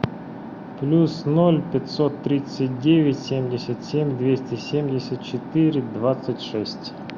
плюс ноль пятьсот тридцать девять семьдесят семь двести семьдесят четыре двадцать шесть